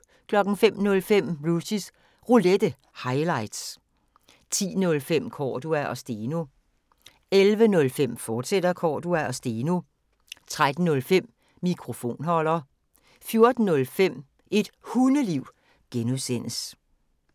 05:05: Rushys Roulette – highlights 10:05: Cordua & Steno 11:05: Cordua & Steno, fortsat 13:05: Mikrofonholder 14:05: Et Hundeliv (G)